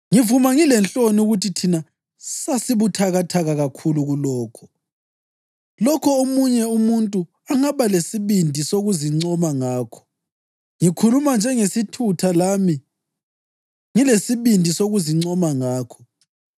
Ngivuma ngilenhloni ukuthi thina sasibuthakathaka kakhulu kulokho! Lokho omunye umuntu angaba lesibindi sokuzincoma ngakho, ngikhuluma njengesithutha, lami ngilesibindi sokuzincoma ngakho.